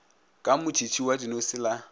ka motšhitšhi wa dinose la